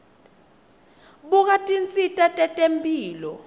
buka tinsita tetemphilo